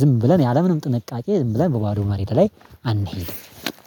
ዝም ብለን ያለምንም ጥንቃቄ ዝም ብለን በባዶ መሬት ላይ አንሄድም